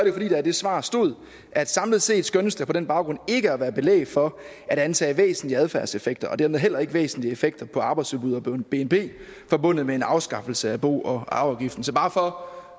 jo fordi der i det svar stod at samlet set skønnes der på den baggrund ikke at være belæg for at antage væsentlige adfærdseffekter og dermed heller ikke væsentlige effekter på arbejdsudbud og bnp forbundet med en afskaffelse af bo og arveafgiften så bare for